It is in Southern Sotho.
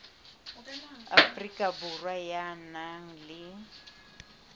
afrika borwa ya nang le